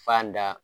Fan da